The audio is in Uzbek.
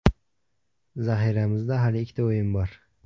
Zaxiramizda hali ikkita o‘yin bor.